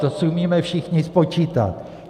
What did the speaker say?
To si umíme všichni spočítat.